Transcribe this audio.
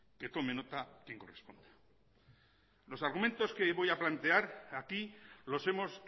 que tome nota quien corresponda los argumentos que voy a plantear aquí los hemos